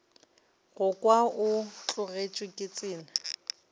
go kwa o tlogetše tsela